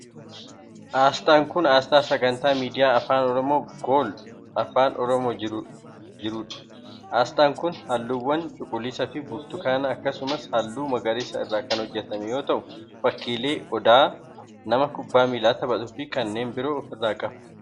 Asxaan kun asxaa sagantaa miidiyaa afaan Oromoo gool afaan Oromoo jiruu dha. Asxaan kun haalluuwwan cuquliisa fi burtukaana akkasumas haalluu magariisa irraa kan hojjatame yoo t'u, fakkiilee odaa, nama kubbaa miilaa taphatuu fi kanneen biroo of irraa qaba.